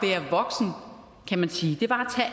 være voksen kan man sige det var